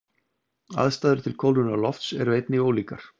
Aðstæður til kólnunar lofts eru einnig ólíkar.